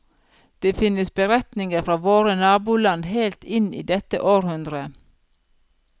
Det finnes beretninger fra våre naboland helt inn i dette århundre.